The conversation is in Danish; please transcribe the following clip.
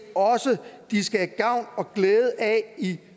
også at de skal have gavn og glæde af i